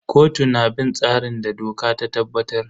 Kotu na bin tsarin da doka ta tabbatar.